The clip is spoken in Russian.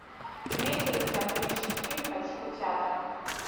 имеется ли у тебя приличный фильм по типу театра